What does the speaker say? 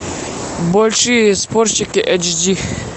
большие спорщики эйч ди